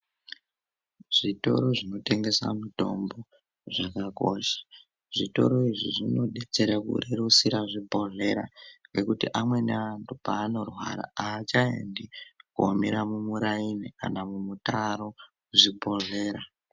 Zitoro zvinotengesa mutombo zvakakosha zvitoro izvi zvinodetsere kurerusira zvibhohlera ngekuti amweni antu panorwara achaendi komira muraini kana mumutaro muzvibhohlera.